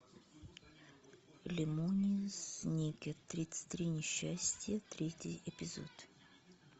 лемони сникет тридцать три несчастья третий эпизод